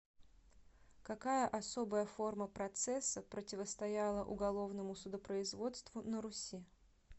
какая особая форма процесса противостояла уголовному судопроизводству на руси